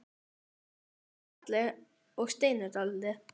Hún kinkar kolli og stynur dálítið.